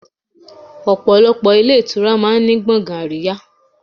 Ọ̀pọ̀lọpọ̀ ilé ìtura máa ń ní gbọ̀ngàn àríyá.